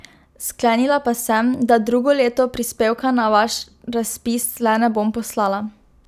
Sklenila pa sem, da drugo leto prispevka na vaš razpis le ne bom poslala.